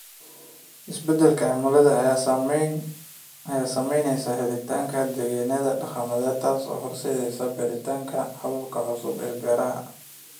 Isbeddelka cimilada ayaa saameynaya helitaanka dalagyada dhaqameed, taasoo horseedaysa baaritaanka hababka cusub ee beeraha.